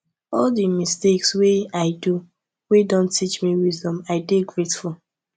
all di mistakes wey i do wey don teach me wisdom i dey grateful